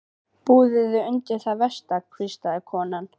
Búðu þig undir það versta, hvíslaði konan.